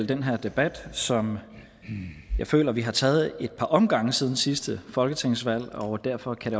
den her debat som jeg føler vi har taget ad et par omgange siden sidste folketingsvalg og derfor kan